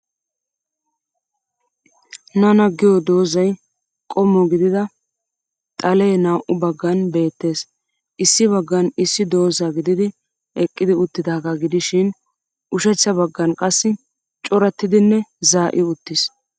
Nana giyo doozzay qommo gidida xalee naa'u baggan beettes. Issi baggan issi doozza gididi eqqidi uttidaagaa gidishin ushachcha baggan qassi corattidinne zaa'i uttis.